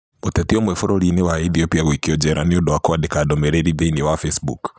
Mũteti ũmwe bũrũri-inĩ wa Ethiopia gũikio njera nĩ ũndũ wa kwandĩka ndũmĩrĩri thĩinĩ wa Facebook